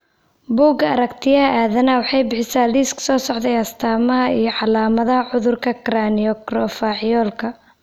Bugaa Aaaragtiyaah Aadanaah waxay bixisaa liiska soo socda ee astamaha iyo calaamadaha cudurka Cranioacrofacialka.